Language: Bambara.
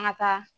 An ka taa